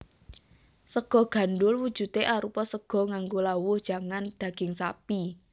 Sega gandhul wujudé arupa sega nganggo lawuh jangan daging sapi